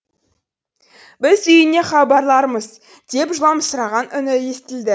біз үйіңе хабарлармыз деп жыламсыраған үні естілді